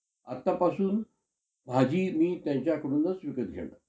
आतापासून भाजी मी त्यांच्याकडूनच विकत घेणार.